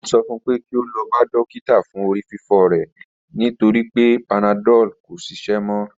Mo sọ fun pe ki o lọ si dokita fun orififo rẹ nigbagbogbo nitori panadol ko ṣiṣẹ mọ